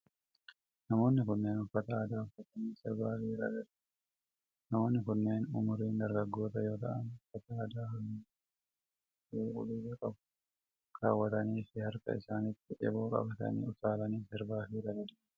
Namoonni kunneen uffata aadaa uffatanii sirbaa fi ragadaa jiru. Namoonni kunneen umuriin dargaggoota yoo ta'an, uffata aadaa haalluuwwan:diimaa, adii fi cuquliisa qabu kaawwatanii fi harka isaanitti eeboo qabatanii utaalanii sirbaa fi ragadaa jiru.